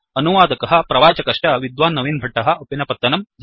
अनुवादकः प्रवाचकश्च विद्वान् नवीन् भट्टः उप्पिनपत्तनं